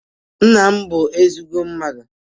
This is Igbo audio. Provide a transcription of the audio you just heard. Nna m bụ ezigbọ mmadụ